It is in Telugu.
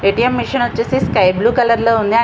మెషిన్ వచ్చేసి స్కీబ్ల్యూ కలర్ లో ఉంది --